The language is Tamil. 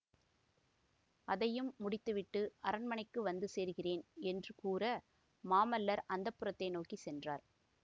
அதையும் முடித்து விட்டு அரண்மனைக்கு வந்து சேருகிறேன் என்று கூற மாமல்லர் அந்தப்புரத்தை நோக்கி சென்றார்